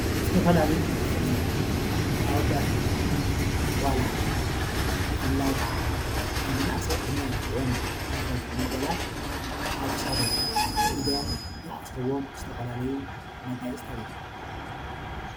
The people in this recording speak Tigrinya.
ዝተፈላለዩ መጋየፅታት ኣወዳት ይኹኑ ኣጓላት ብፍላይ ከዓ ናይ መናእሰይ ዕድመ ዝኾኑ ኣወዳት ይኹኑ ኣጓላት ኣብ ክሳዶም፣ ኣብ ኢዶም ዝኣስርዎም ዝተፈላለዩ መጋየፅታት እዮም፡፡